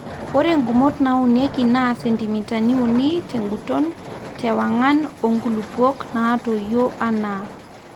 ore nkumot naunieki naa sentimitani uni teguton te wangan oo nkulupuok naatoyio anaa